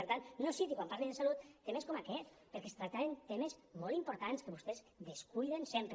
per tant no citi quan parli de salut temes com aquest perquè es tractaven temes molt importants que vostès descuiden sempre